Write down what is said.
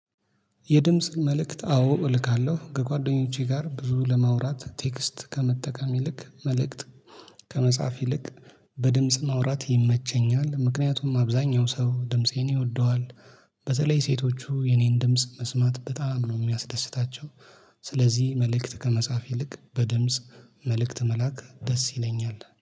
የድምጽ መልእክት አዎ እልካለሁ ከጓደኞቼ ጋር ብዙ ለማውራት ቴክስት ከመጠቀም ይልቅ መልእክት ከመጽሐፍ ይልቅ በድምጽ ማውራት ይመቸኛል ምክንያቱም አብዛኛው ሰው ድምፄን ይወደዋል በተለይ ሴቶቹ የኔን ድምጽ መስማት በጣም ነው ሚያስደስታቸው። ስለዚህ መልእክት ከመጻፍ ይልቅ በድምጽ መልእክት መላክ ደስ ይለኛል